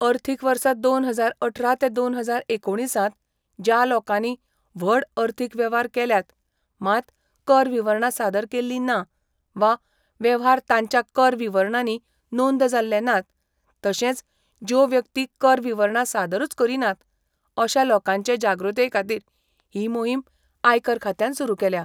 अर्थीक वर्स दोन हजार अठरा ते दोन हजार एकोणिसांत ज्या लोकांनी व्हड अर्थीक वेव्हार केल्यात मात कर विवरणां सादर केल्ली ना वा वेव्हार तांच्या कर विवरणांनी नोंद जाल्ले नात तशेंच ज्यो व्यक्ती कर विवरणां सादरूच करिनात अशा लोकांचे जागृताये खातीर ही मोहीम आयकर खात्यान सुरू केल्या.